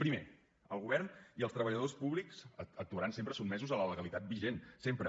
primer el govern i els treballadors públics actuaran sempre sotmesos a la legalitat vigent sempre